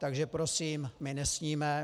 Takže prosím, my nesníme.